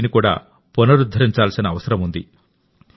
వీటిని పునరుద్ధరించాల్సిన అవసరం ఉంది